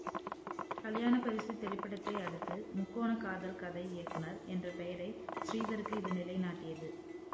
கல்யாணப் பரிசு திரைப்படத்தை அடுத்து முக்கோணக் காதல் கதை இயக்குனர் என்ற பெயரை ஸ்ரீதருக்கு இது நிலை நாட்டியது